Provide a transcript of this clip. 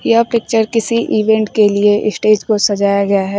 यह पिक्चर किसी इवेंट के लिए इस्टेज को सजाया गया है।